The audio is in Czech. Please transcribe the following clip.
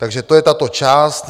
Takže to je tato část.